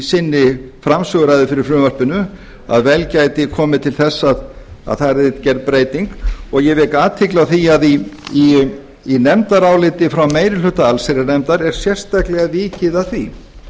sinni framsöguræðu fyrir frumvarpinu að vel gæti komið til þess að það yrði gerð breyting ég vek athygli á því að í nefndaráliti frá meiri hluta allsherjarnefndar er sérstaklega vikið að því